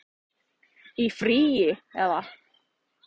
Í frí. eða?